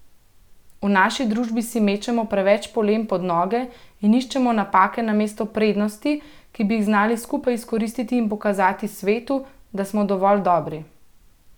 V naši družbi si mečemo preveč polen pod noge in iščemo napake namesto prednosti, ki bi jih znali skupaj izkoristiti in pokazati svetu, da smo dovolj dobri.